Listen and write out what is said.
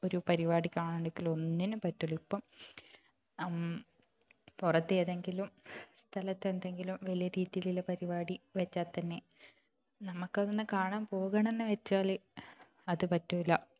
ഒരു പരിപാടി കാണാൻ നിക്കലോ ഒന്നിനും പറ്റൂല്ല ഇപ്പം നമ് പുറത്ത് ഏതെങ്കിലും സ്ഥലത്ത് എന്തെങ്കിലും വലിയ രീതിയിലുള്ള പരിപാടി വച്ചാൽ തന്നെ നമുക്ക് അതൊന്നു കാണാൻ പോകണമെന്ന് വച്ചാല് അത് പറ്റൂല്ല